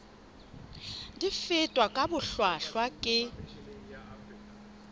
di fetwa ka bohlwahlwa ke